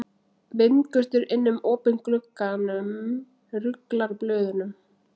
Vindgustur inn um opinn glugganum ruglar blöðunum.